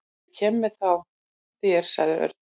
Ég kem með þér sagði Örn.